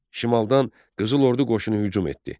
Şimaldan qızıl ordu qoşunu hücum etdi.